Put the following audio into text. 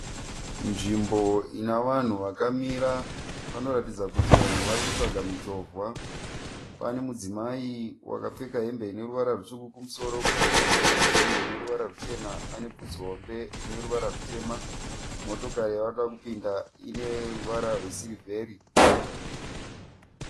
Nzvimbo ine vanhu vakamira. Panotaridza kuti vanhu vari kutsvaka michovha. Pane mudzimai wakapfeka hembe ine ruvara rutsvuku kumusoro. Kuzasi akapfeka hembe ine ruvara ruchena anebvudzi hombe rine ruvara rutema. Motokari yavari kuda kupinda ine ruvara rwesirivheri.